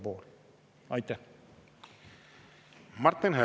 Martin Helme, palun!